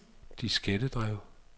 diskettedrev